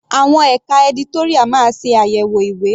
Àwọn ẹka editorial máa ṣe àyẹ̀wò ìwé.